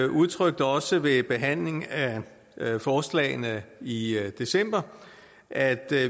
udtrykte også ved behandling af forslagene i i december at